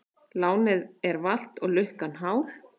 Lánið er valt og lukkan hál.